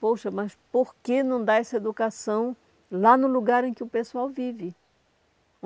Poxa, mas por que não dá essa educação lá no lugar em que o pessoal vive?